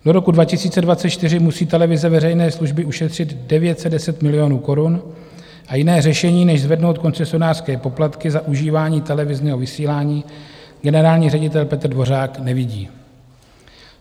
Do roku 2024 musí televize veřejné služby ušetřit 910 milionů korun a jiné řešení než zvednout koncesionářské poplatky za užívání televizního vysílání generální ředitel Petr Dvořák nevidí.